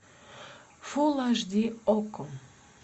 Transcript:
фул аш ди окко